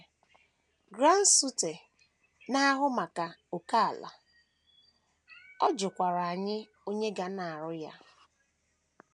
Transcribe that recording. Grant Suiter, na - ahụ maka ókèala, ọ jụkwara anyị onye ga na - arụ ya.